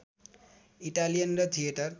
Italian र theatre